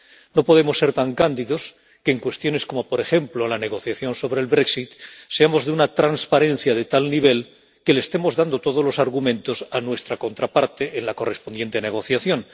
No podemos ser tan cándidos que, en cuestiones como, por ejemplo, la negociación sobre el brexit seamos de una transparencia de tal nivel que le estemos dando todos los argumentos a nuestra contraparte en la correspondiente negociación.